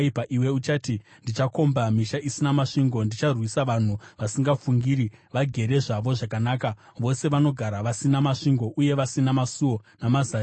Iwe uchati, “Ndichakomba misha isina masvingo; ndicharwisa vanhu vasingafungiri vagere zvavo zvakanaka, vose vanogara vasina masvingo uye vasina masuo namazariro.